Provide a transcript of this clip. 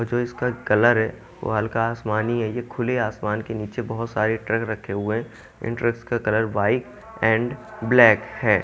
जो इसका कलर है वो हल्का आसमानी है ये खुले आसमान के नीचे बहोत सारे ट्रक रखे हुए है इन ट्रक्स का कलर व्हाइट एंड ब्लैक है।